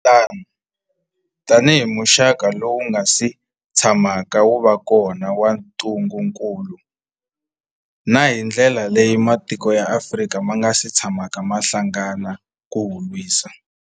Loko swi ri tano, tanihi muxaka lowu wu nga si tshamaka wu va kona wa ntungukulu, na hi ndlela leyi matiko ya Afrika ma nga si tshamaka ma hlangana ku wu lwisa.